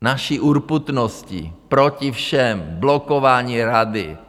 Naší urputností proti všem blokováním Rady.